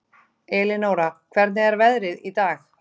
Elinóra, hvernig er veðrið í dag?